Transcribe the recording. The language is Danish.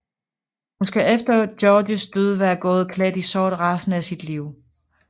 Hun skal efter Georges død være gået klædt i sort resten af sit liv